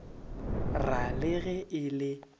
ra le ge e le